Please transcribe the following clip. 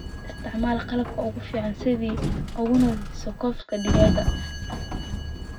Isticmaal qalabka ugu fiican si aad u nadiifiso cops digaagga.